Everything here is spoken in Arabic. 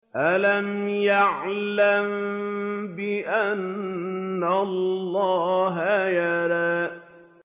أَلَمْ يَعْلَم بِأَنَّ اللَّهَ يَرَىٰ